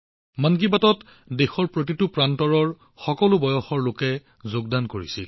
মন কী বাতত দেশৰ প্ৰতিটো প্ৰান্তৰ লোকসকলে যোগদান কৰিছিল